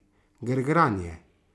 Grgranje.